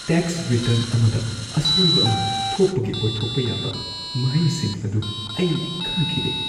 Tax return ꯑꯃꯗ ꯑꯁꯣꯏꯕ ꯑꯃ ꯊꯣꯛꯄꯒꯤ ꯑꯣꯏꯊꯣꯛꯄ ꯌꯥꯕ ꯃꯍꯩꯁꯤꯡ ꯑꯗꯨ ꯑꯩ ꯈꯪꯈꯤꯗꯦ꯫